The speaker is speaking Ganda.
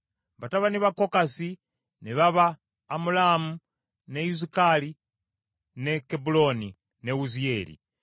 Batabani ba Kokasi ne baba Amulaamu, ne Izukali, ne Kebbulooni, ne Wuziyeeri.